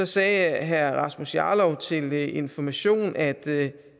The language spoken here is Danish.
sagde herre rasmus jarlov til information at